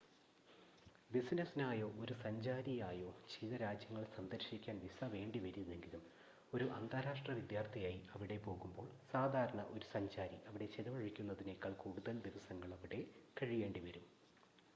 ബിസിനസ്സിനായോ ഒരു സഞ്ചാരിയായോ ചില രാജ്യങ്ങൾ സന്ദർശിക്കാൻ വിസ വേണ്ടിവരില്ലെങ്കിലും ഒരു അന്താരാഷ്ട്ര വിദ്യാർത്ഥിയായി അവിടെ പോവുമ്പോൾ സാധാരണ ഒരു സഞ്ചാരി അവിടെ ചിലവഴിക്കുന്നതിനേക്കാൾ കൂടുതൽ ദിവസങ്ങളവിടെ കഴിയേണ്ടി വരും